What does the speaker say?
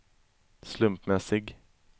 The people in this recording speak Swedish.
slumpmässig